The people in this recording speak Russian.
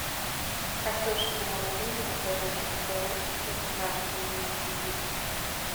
картошку молодую закажи только нашу не египетскую